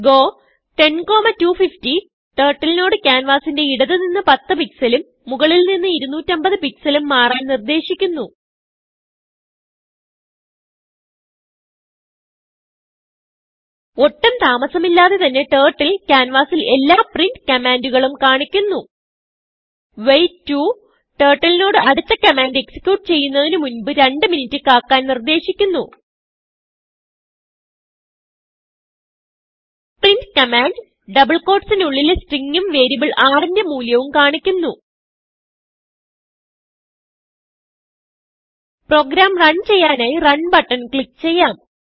go 10250 turtleനോട് ക്യാൻവാസിന്റെ ഇടത് നിന്ന് 10പിക്സൽ ഉം മുകളിൽ നിന്ന് 250pixelഉം മാറാൻ നിർദേശിക്കുന്നു ഒട്ടും താമസമില്ലാതെ തന്നെ turtleക്യാൻവാസിൽ എല്ലാ printകമാൻഡുകളും കാണിക്കുന്നു വെയ്റ്റ് 2turtleനോട് അടുത്ത കമാൻഡ് executeചെയ്യുന്നതിന് മുൻപ് 2മിനിറ്റ് കാക്കാൻ നിർദേശിക്കുന്നു printകമാൻഡ് double quotesനുള്ളിലെ stringഉം വേരിയബിൾ rന്റെ മൂല്യവും കാണിക്കുന്നു പ്രോഗ്രാം റൺ ചെയ്യാനായി റണ് ബട്ടൺ ക്ലിക്ക് ചെയ്യാം